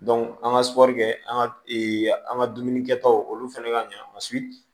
an ka an ka an ka dumuni kɛtaw olu fana ka ɲɛ